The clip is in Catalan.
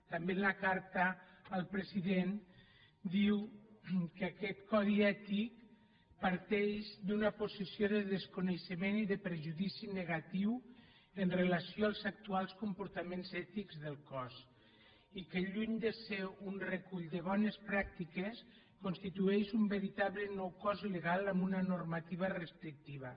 també en la carta al president diu que aquest codi ètic parteix d’una posició de desconeixement i de perjudici negatiu amb relació als actuals comportaments ètics del cos i que lluny de ser un recull de bones pràctiques constitueix un veritable nou cost legal amb una normativa restrictiva